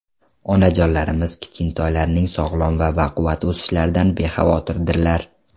Onajonlarimiz kichkintoylarining sog‘lom va baquvvat o‘sishlaridan bexavotirdirlar.